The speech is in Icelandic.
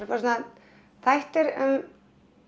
bara svona þættir um